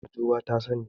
Wataƙila Mahjuba ta sani.